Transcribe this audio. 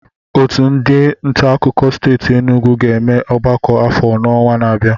Otu ndị nta akụkọ steeti Enugwu ga-eme ọgbakọ afọ n'ọnwa na-abịa